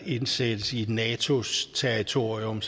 indsættes i natos territorium